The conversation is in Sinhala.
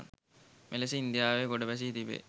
මෙලෙස ඉන්දියාවේ ගොඩ ගැසී තිබෙ